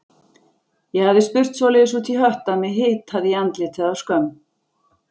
Ég hafði spurt svoleiðis út í hött að mig hitaði í andlitið af skömm.